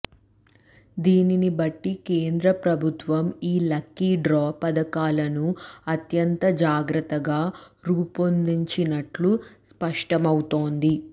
దీనిని బట్టి కేంద్ర ప్రభుత్వం ఈ లక్కీ డ్రా పథకాలను అత్యంత జాగ్రత్తగా రూపొందించినట్లు స్పష్టమవుతోంది